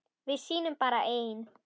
Við sýnum bara ein